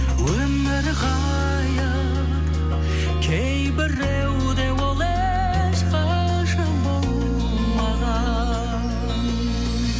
өмір ғайып кейбіреуде ол ешқашан болмаған